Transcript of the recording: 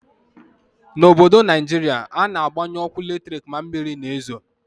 N'obodo Naijiria, a na-agbanyu ọkụ latrik ma mmiri na-ezo.